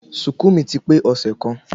Ṣùùkú mi ti pe ọsẹ kan